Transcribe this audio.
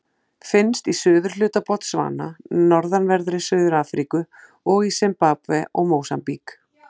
Finnst í suðurhluta Botsvana, norðanverðri Suður-Afríku og í Simbabve og Mósambík.